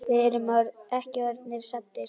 Við erum ekki orðnir saddir.